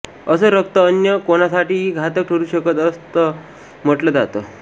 असं रक्त अन्य कोणासाठीही घातक ठरू शकतं असं म्हटलं जातं